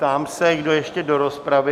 Ptám se, kdo ještě do rozpravy?